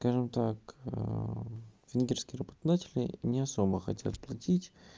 скажем так венгерские работодатели не особо хотят платить